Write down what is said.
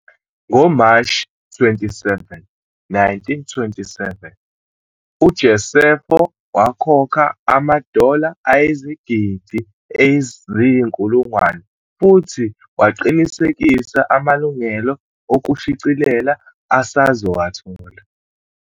NgoMashi 27, 1927, uJosepho wakhokha ama-dollar ayizigidi eziyinkulungwane futhi waqinisekisa amalungelo okushicilela asazowathola.